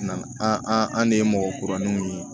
Na an an an de ye mɔgɔ kuraniw ye